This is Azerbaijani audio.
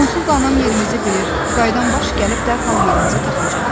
Onsuz da anam yerimizi bilir, qayıdan baş gəlib dərhal yerimizi tapacaq.